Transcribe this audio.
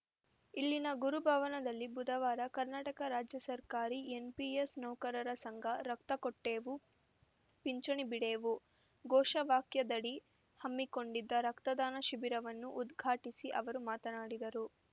ಇಲ್ಲಿನ ಗುರು ಭವನದಲ್ಲಿ ಬುಧವಾರ ಕರ್ನಾಟಕ ರಾಜ್ಯ ಸರ್ಕಾರಿ ಎನ್‌ಪಿಎಸ್‌ ನೌಕರರ ಸಂಘ ರಕ್ತ ಕೊಟ್ಟೇವು ಪಿಂಚಣಿ ಬಿಡೆವು ಘೋಷವಾಕ್ಯದಡಿ ಹಮ್ಮಿಕೊಂಡಿದ್ದ ರಕ್ತದಾನ ಶಿಬಿರವನ್ನು ಉದ್ಘಾಟಿಸಿ ಅವರು ಮಾತನಾಡಿದರು